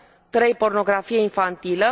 3 pornografie infantilă